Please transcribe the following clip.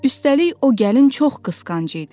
Üstəlik, o gəlin çox qısqanc idi.